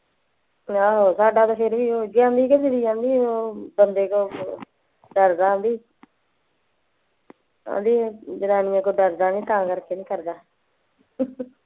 ਆਹੋ ਸਾਡਾ ਤੇ ਫੇਰ ਵੀ ਓਹੋ ਜਿਹਾ ਬੰਦੇ ਕੋਲ ਆਂਦੀ ਆਂਦੀ ਜਨਾਨੀਆਂ ਕੋਲ ਡਰਦਾ ਨਹੀਂ ਤਾਂ ਕਰਕੇ ਨਹੀਂ ਕਰਦਾ